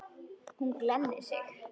Hún glennir sig.